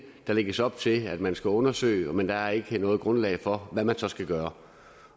der lægges op til at man skal undersøge men der er ikke noget grundlag for hvad man så skal gøre